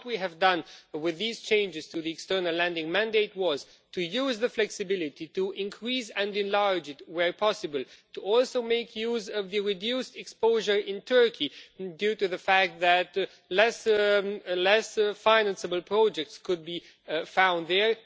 What we have done with these changes to the External Lending Mandate was to use the flexibility to increase and enlarge it where possible, and also to make use of the reduced exposure in Turkey due to the fact that less financeable projects could be found there